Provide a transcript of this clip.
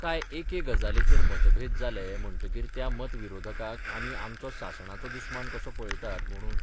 काय एके गजालीचेर मतभेद जाले म्हणटकीर त्या मत विरोधकाक आमी आमचो सासणाचो दुस्मान कसो पळयतात म्हणून?